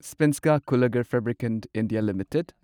ꯁ꯭ꯄꯦꯟꯁꯀꯥ ꯀꯨꯜꯂꯒꯔꯐꯕ꯭ꯔꯤꯀꯦꯟ India limited